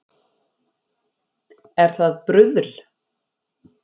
Er það bruðl